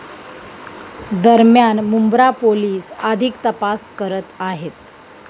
दरम्यान मुंब्रा पोलिस अधिक तपास करत आहेत.